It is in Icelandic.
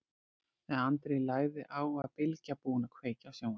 Þegar Andri lagði á var Bylgja búin að kveikja á sjónvarpinu.